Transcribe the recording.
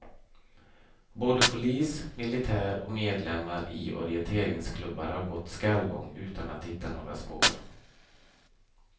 Både polis, militär och medlemmar i orienteringsklubbar har gått skallgång utan att hitta några spår.